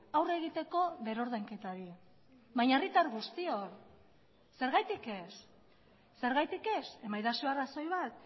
aurre egiteko berrordainketari baina herritar guztiok zergatik ez eman egidazue arrazoi bat